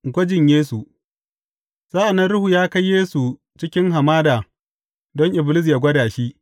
Gwajin Yesu Sa’an nan Ruhu ya kai Yesu cikin hamada don Iblis yă gwada shi.